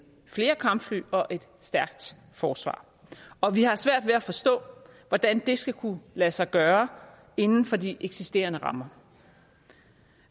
flere kampfly og et stærkt forsvar og vi har svært ved at forstå hvordan det skal kunne lade sig gøre inden for de eksisterende rammer